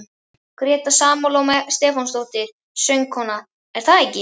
Gréta Salóme Stefánsdóttir, söngkona: Er það ekki?